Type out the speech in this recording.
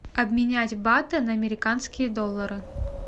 обменять баты на американские доллары